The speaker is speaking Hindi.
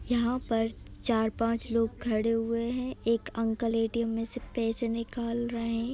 यहाॅं पर चार- पाँच लोग खड़े हुए हैं ऑ एक अंकल ए_टी_एम मेल से पैसे निकाल रहे हैं।